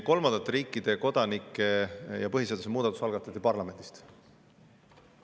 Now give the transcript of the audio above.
Kolmandate riikide kodanike algatati põhiseaduse muudatus parlamendis.